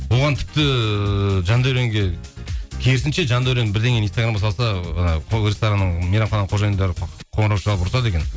оған тіпті жандәуренге керісінше жандәурен бірдеңені инстаграмға салса ресторанның мейрамхананың қожайындары қоңырау шалып ұрсады екен